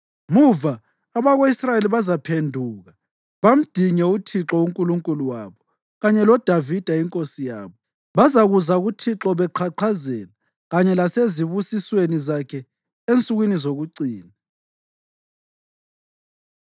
Muva abako-Israyeli bazaphenduka bamdinge uThixo uNkulunkulu wabo kanye loDavida inkosi yabo. Bazakuza kuThixo beqhaqhazela kanye lasezibusisweni zakhe ensukwini zokucina.